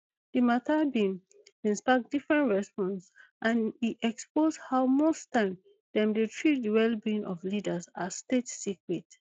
di mata bin bin spark different responses and e expose how most time dem dey treat di wellbeing of leaders as state secret